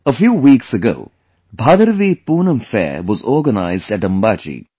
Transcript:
A few weeks ago, 'BhadaraviPoonam Fair' was organized atAmbaji